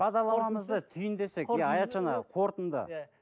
иә аятжан аға қортынды иә